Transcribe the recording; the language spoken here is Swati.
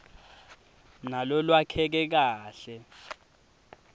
nalolwakheke kahle